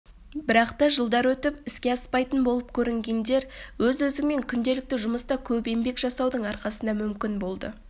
бірақта жылдар өтіп іске аспайтын болып көрінгендер өз-өзіңмен күнделікті жұмыста көп еңбек жасаудың арқасында мүмкін болды